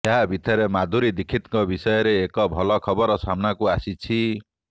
ଏହା ଭିତରେ ମାଧୁରୀ ଦିକ୍ଷୀତ୍ଙ୍କ ବିଷୟରେ ଏକ ଭଲ ଖବର ସାମ୍ନାକୁ ଆସିଛି